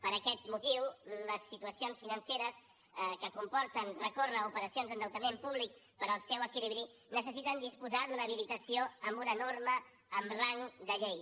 per aquest motiu les situacions financeres que comporten recórrer a operacions d’endeutament públic per al seu equilibri necessiten disposar d’una habilitació amb una norma amb rang de llei